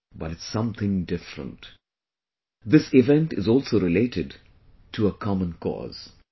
But it's something different..., this event is also related to a 'common cause'